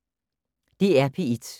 DR P1